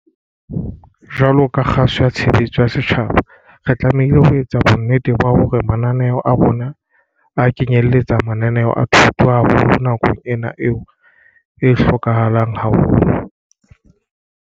Jwaloka kgaso ya tshebeletso ya setjhaba re tlamehile ho etsa bonnete ba hore mananeo a rona a kenyelletsa mananeo a thuto, haholo nakong ena eo e hlokahalang haholo.